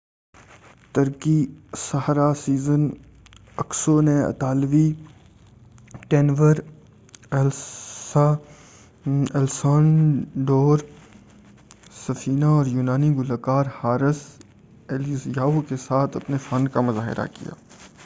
ترکی ساحرہ Sezen Aksu نے اطالوی ٹینور الیسانڈرو سفینہ اور یونانی گلوکار حارث الیزیاؤ کے ساتھ اپنے فن کا مُظاہرہ کیا